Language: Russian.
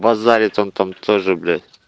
базарит он там тоже блять